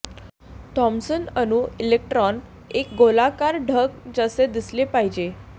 Thomson अणू electron एक गोलाकार ढग जसे दिसले पाहिजे